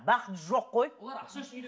бақыт жоқ қой